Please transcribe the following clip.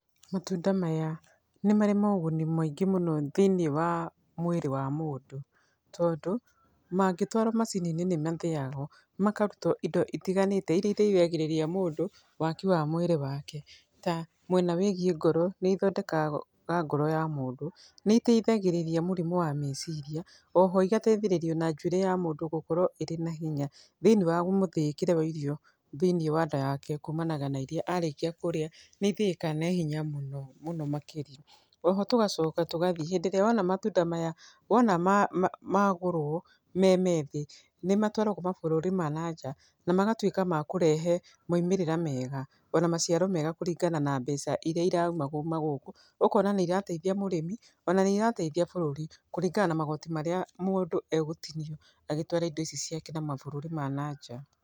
Matunda maya, nĩ marĩ moguni maingĩ mũno thĩinĩ wa mwĩrĩ wa mũndũ, tondũ mangĩtwarwo macini-inĩ nĩ mathĩyagwo, makaruta indo itiganĩte iria iteithagĩrĩria mũndũ waki wa mwĩrĩ wake, ta mwena wĩgiĩ ngoro, nĩ ĩthondekaga ngoro ya mũndũ, nĩ ĩteithagĩrĩria mũrimũ wa meciria, oho ĩgateithĩrĩria ona njuĩrĩ ya mũndũ gũkũra ĩrĩa na hinya, thĩinĩ wa mũthĩĩkĩre wa irio, thĩinĩ wa nda yake, kũmanaga na irio arĩkia kũrĩa, nĩ ithĩĩkaga na ithenya mũno, mũno makĩria, oho tũgacoka tũgathiĩ, hĩndĩ ĩrĩa wona matunda maya, wona ma magũrwo me methĩĩ, nĩ matwaragwo mabũrũri ma nanja, na magatwĩka makũrehe maimĩrĩra mega, ona maciaro mega, kũringana na mbeca iria iraima kuuma gũkũ, ũkona nĩ irateithia mũrĩmi, ona nĩ irateithia bũrũri, kũringana na magoti marĩa mũndũ egũtinio, agĩtwara indo ici ciake na mabũrũri ma nanja.